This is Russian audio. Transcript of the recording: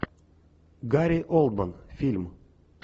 гари олдман фильм